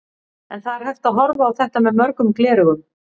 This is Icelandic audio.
En það er hægt að horfa á þetta með mörgum gleraugum.